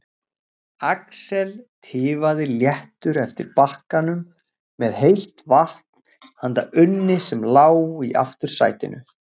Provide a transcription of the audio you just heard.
Axel tifaði léttur eftir bakkanum með heitt vatn handa Unni sem lá í aftursætinu.